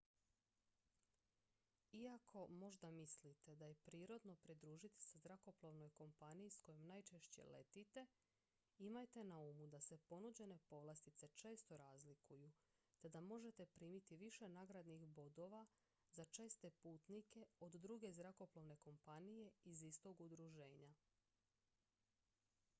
iako možda mislite da je prirodno pridružiti se zrakoplovnoj kompaniji s kojom najčešće letite imajte na umu da se ponuđene povlastice često razlikuju te da možete primiti više nagradnih bodova za česte putnike od druge zrakoplovne kompanije iz istog udruženja